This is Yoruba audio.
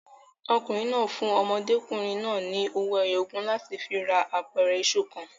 Ọkùnrin náà fún ọmọdékùnrin náà ni owó ẹyọ ogún láti fi ra apẹ̀rẹ̀ iṣu kan.